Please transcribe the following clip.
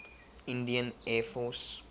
indian air force